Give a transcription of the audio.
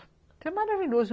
Isso é maravilhoso.